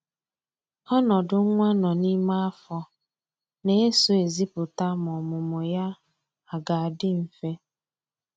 Ọnọdụ nwa nọ n'ime afọ na-eso ezipụta ma ọmụmụ ya a ga-adị mfe